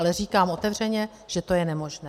Ale říkám otevřeně, že to je nemožné.